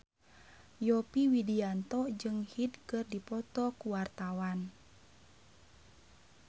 Yovie Widianto jeung Hyde keur dipoto ku wartawan